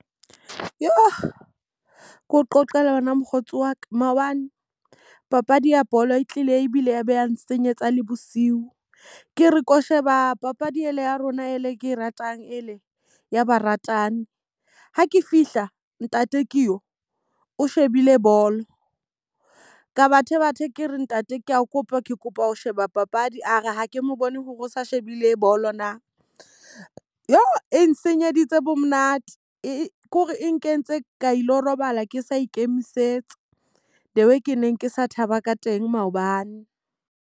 Keo qoqele wena mokgotsi wa ka. Maobane, 0apadi ya bolo e tlile ebile ya beha nsenyetsa le bosiu. Ke re ko sheba papadi ena ya rona e le ke e ratang e le ya baratani. Ha ke fihla ntate ke yo o shebile bolo. Ka bathe bathe ke re ntate ke a kopa ke kopa ho sheba papadi, a re ha ke mo bone hore o sa shebile bolo na. Jo! E nsenyeleditse bo monate e kore e nkentse ka ilo robala ke sa ikemisetsa. The way ke neng ke sa thaba ka teng maobane.